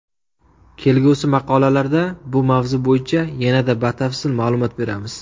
Kelgusi maqolalarda bu mavzu bo‘yicha yanada batafsil ma’lumot beramiz.